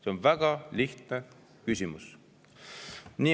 See on väga lihtne küsimus.